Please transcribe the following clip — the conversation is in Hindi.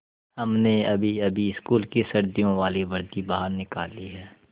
हमने अभीअभी स्कूल की सर्दियों वाली वर्दी बाहर निकाली है